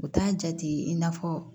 U t'a jate i n'a fɔ